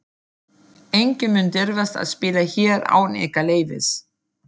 Enginn mun dirfast að spila hér án ykkar leyfis.